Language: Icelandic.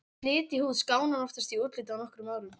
Slit í húð skánar oftast í útliti á nokkrum árum.